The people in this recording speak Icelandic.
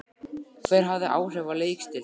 Hver hafði áhrif á leikstíl þinn?